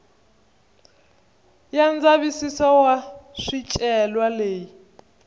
ya ndzavisiso wa swicelwa leyi